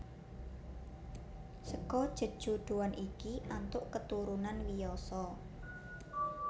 Seka jejodhoan iki antuk keturunan Wiyasa